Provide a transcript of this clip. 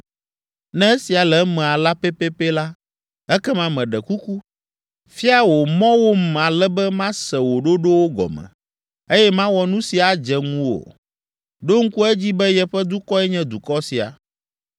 Ne esia le eme alea pɛpɛpɛ la, ekema meɖe kuku, fia wò mɔwom ale be mase wò ɖoɖowo gɔme, eye mawɔ nu si adze ŋuwò. Ɖo ŋku edzi be yeƒe dukɔe nye dukɔ sia.”